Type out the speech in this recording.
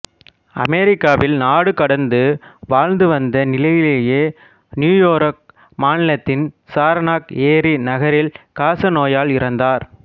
அமெரிக்காவில் நாடுகடந்து வாழ்ந்துவந்த நிலையிலேயே நியூயோர்க் மாநிலத்தின் சரனாக் ஏரி நகரில் காசநோயால் இறந்தார்